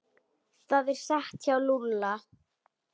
Það er satt hjá Lúlla.